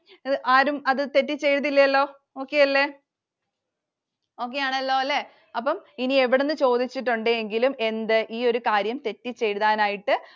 അത് ആരും അത് തെറ്റി ചെയില്ലലോ Okay അല്ലെ. Okay ആണല്ലോല്ലേ? അപ്പം ഇനി എവിടുന്നു ചോദിച്ചിട്ടുണ്ടെങ്കിലും എന്ത് ഈ ഒരു കാര്യം തെറ്റിച്ചു എഴുതാനായിട്ട്